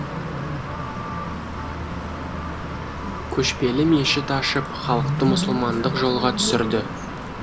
көшпелі мешіт ашып халықты мұсылмандық жолға түсірді